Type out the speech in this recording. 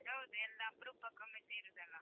ಅದ್ ಹೌದು. ಎಲ್ಲ ಅಪ್ರೂಪಕೊಮ್ಮೆ ಸೇರುದಲ್ಲಾ?